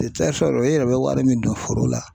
i yɛrɛ bɛ wari min don foro la